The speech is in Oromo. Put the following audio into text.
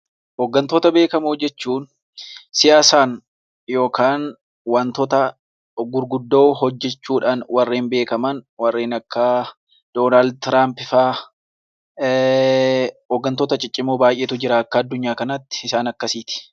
Hoggantoota beekamoo jechuun siyaasaan yookaan wantoota gurguddoo hojechuudhaan warreen beekaman warreen akka Doonaald Tiraamp fa'a. Hoggantoota ciccimoo baay'eetu jira akka addunyaa kanaatti isaan akkasiiti.